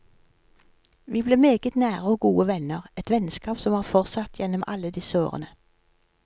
Vi ble meget nære og gode venner, et vennskap som har fortsatt gjennom alle disse årene.